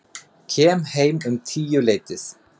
Kem heim um tíuleytið.